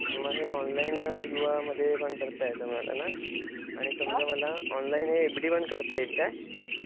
मग हे ऑनलाईन युवा मध्ये पण करता येत मला ना. आणि समजा मला ऑनलाईन हे एफ डी पण करता येईल काय?